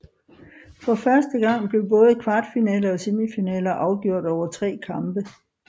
For første gang blev både kvartfinaler og semifinaler afgjort over tre kampe